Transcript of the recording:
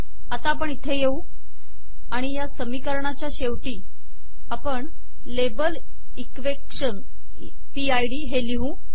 आता इथे येऊ आणि या समीकरणाच्या शेवटी आपण label equation P I D हे लिहू